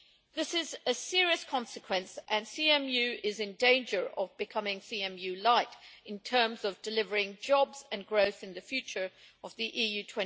This is a serious consequence and CMU is in danger of becoming CMU lite in terms of delivering jobs and growth in the future of the EU